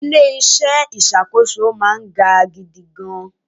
Ilẹ̀ ìṣọ́ ìṣàkóso máa ń ga gidigan.